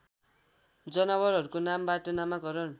जनावरहरूको नामबाट नामाकरण